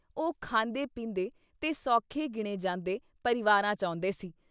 ਉਹ ਖਾਂਦੇ-ਪੀਂਦੇ ਤੇ ਸੌਖੇ ਗਿਣੇ ਜਾਂਦੇ ਪਰਿਵਾਰਾਂ 'ਚ ਆਉਂਦੇ ਸੀ।